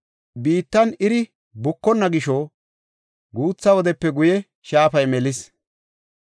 Biittan iri bukonna gisho, guutha wodepe guye shaafay melis.